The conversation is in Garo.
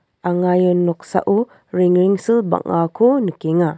anga ia noksao rengrengsil bang·ako nikenga.